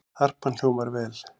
Harpan hljómar vel